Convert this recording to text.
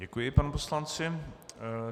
Děkuji panu poslanci.